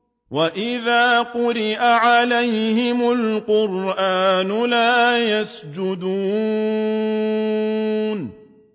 وَإِذَا قُرِئَ عَلَيْهِمُ الْقُرْآنُ لَا يَسْجُدُونَ ۩